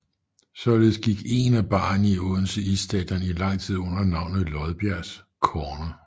Således gik én af barerne i Odense Isstadion i lang tid under navnet Lodbergs Corner